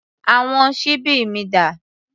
Àwọn ṣíbí mi dà?